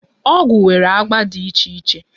Ọgwụ nwere agba dị iche iche.